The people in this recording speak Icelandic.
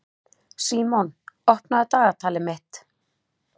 Símon, opnaðu dagatalið mitt.